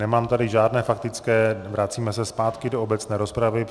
Nemám tady žádné faktické, vracíme se zpátky do obecné rozpravy.